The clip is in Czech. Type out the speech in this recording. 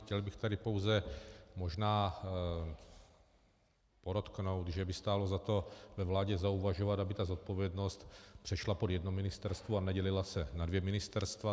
Chtěl bych tady pouze možná podotknout, že by stálo za to ve vládě zauvažovat, aby ta zodpovědnost přešla pod jedno ministerstvo a nedělila se na dvě ministerstva.